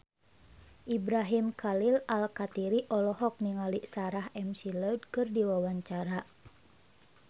Ibrahim Khalil Alkatiri olohok ningali Sarah McLeod keur diwawancara